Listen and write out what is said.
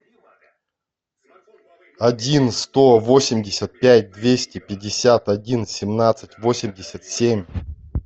один сто восемьдесят пять двести пятьдесят один семнадцать восемьдесят семь